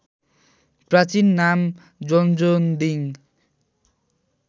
प्राचीन नाम जोन्जोन्दिङ